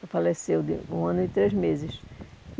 Ela faleceu de com um ano e três meses.